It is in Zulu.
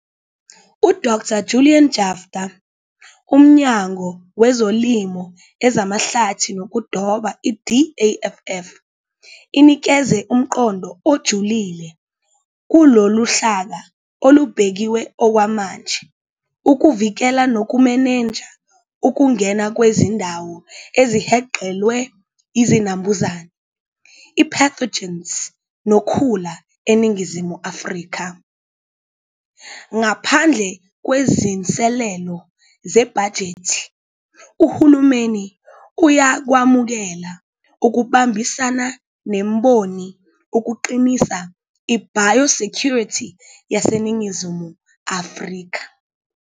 U-Dr Julian Jaftha, Umnyango wezoLimo, ezamaHlathi nokuDoba, i-DAFF, inikeze umqondo ojulile kuloluhlaka olubekiwe okwamanje ukuvikela nokumenenja ukungena kwezindawo ezihenqelwe izinambuzane, i-pathogens nokhula eNingizimu Afrika. Ngaphandle kwezinselelo zebhajethi, uhulumeni uyakwemukela ukubambisana nemboni ukuqinisa i-biosecurity yaseNingizimu Afrika.